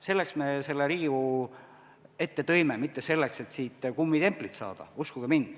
Selleks me selle Riigikogu ette tõime, mitte selleks, et siit kummitemplit saada, uskuge mind.